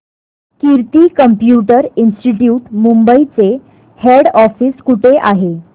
कीर्ती computer institute Mumbai चे head office कुठे आहे